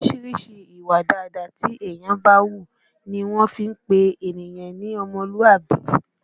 Orísìírísìí ìwà dáadáa tí ènìyàn bá ń hù ní wọ́n fi ń pé ènìyàn ní ọmọlúàbí